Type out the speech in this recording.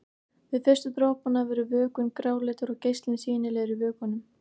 Við fyrstu dropana verður vökvinn gráleitur og geislinn sýnilegur í vökvanum.